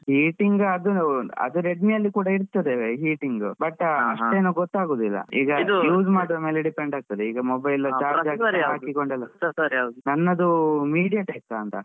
Heating ಅದು ಅದು Redmi ಅಲ್ಲಿ ಕೂಡ ಇರ್ತದೆ heating but ಅಷ್ಟೇನು ಗೊತ್ತಾಗೋದಿಲ್ಲ ಈಗ use ಮಾಡೋವ್ರ ಮೇಲೆ depend ಆಗ್ತದೆ ನನ್ನದು mediatek ಅಂತ.